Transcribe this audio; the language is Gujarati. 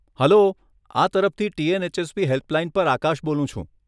હલ્લો આ તરફથી ટીએનએચએસપી હેલ્પલાઈન પર આકાશ બોલું છું.